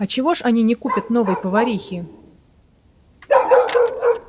а чего ж они не купят новой поварихи